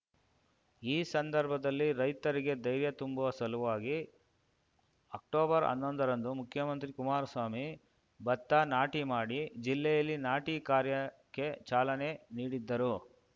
ಈ ಸಂದರ್ಭದಲ್ಲಿ ರೈತರಿಗೆ ಧೈರ್ಯ ತುಂಬುವ ಸಲುವಾಗಿ ಅಕ್ಟೊಬರ್ಹನ್ನೊಂದರಂದು ಮುಖ್ಯಮಂತ್ರಿ ಕುಮಾರಸ್ವಾಮಿ ಭತ್ತ ನಾಟಿ ಮಾಡಿ ಜಿಲ್ಲೆಯಲ್ಲಿ ನಾಟಿ ಕಾರ್ಯಕ್ಕೆ ಚಾಲನೆ ನೀಡಿದ್ದರು